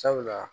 Sabula